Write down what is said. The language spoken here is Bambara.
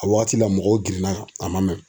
A wagati la mɔgɔw girinna kan a man mɛn.